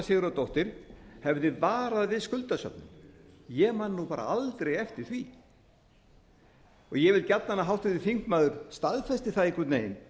sigurðardóttir hafi varað við skuldasöfnun ég man aldrei eftir því ég vil gjarnan að háttvirtur þingmaður staðfesti það einhvern veginn